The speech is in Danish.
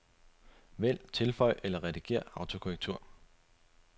Vælg tilføj eller redigér autokorrektur.